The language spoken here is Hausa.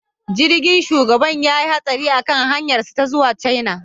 Jirgin shugaban ya yi hatsari a kan hanyarsu ta zuwa China